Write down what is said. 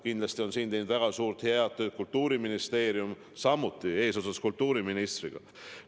Kindlasti on siin teinud väga head tööd ka Kultuuriministeerium eesotsas kultuuriministriga.